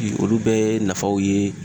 Bi olu bɛɛ ye nafaw ye